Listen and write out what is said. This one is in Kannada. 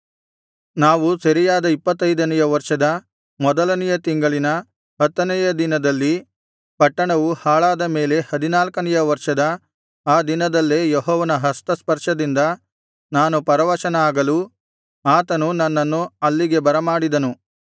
ನಾವು ಸೆರೆಯಾದ ಇಪ್ಪತ್ತೈದನೆಯ ವರ್ಷದ ಮೊದಲನೆಯ ತಿಂಗಳಿನ ಹತ್ತನೆಯ ದಿನದಲ್ಲಿ ಪಟ್ಟಣವು ಹಾಳಾದ ಮೇಲೆ ಹದಿನಾಲ್ಕನೆಯ ವರ್ಷದ ಆ ದಿನದಲ್ಲೇ ಯೆಹೋವನ ಹಸ್ತಸ್ಪರ್ಶದಿಂದ ನಾನು ಪರವಶನಾಗಲು ಆತನು ನನ್ನನ್ನು ಅಲ್ಲಿಗೆ ಬರಮಾಡಿದನು